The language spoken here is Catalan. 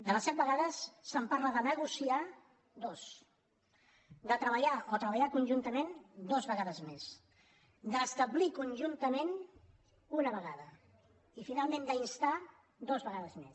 de les set vegades es parla de negociar en dues de treballar o treballar conjuntament dues vegades més d’establir conjuntament una vegada i finalment d’instar dues vegades més